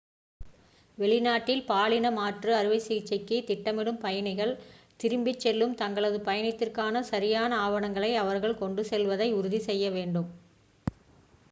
வெளிநாட்டில் பாலின மாற்று அறுவைசிகிச்சைக்கு திட்டமிடும் பயணிகள் திரும்பிச் செல்லும் தங்களது பயணத்திற்கான சரியான ஆவணங்களை அவர்கள் கொண்டுச் செல்வதை உறுதி செய்ய வேண்டும்